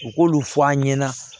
U k'olu fɔ an ɲɛna